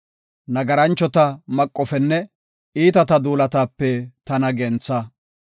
Nagaranchota maqofenne iitata duulataape tana gentha.